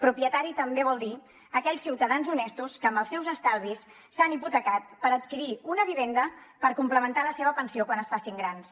propietari també vol dir aquells ciutadans honestos que amb els seus estalvis s’han hipotecat per adquirir una vivenda per complementar la seva pensió quan es facin grans